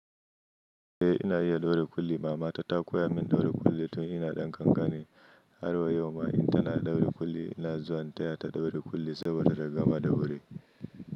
Eh ina iya daure kulli. Mama ta ta koya min daure kulli tun ina ɗan kankani. Har wa yau ma in tana daure kulli ina zuwa intaya ta daure kulli saboda taga-madawuri.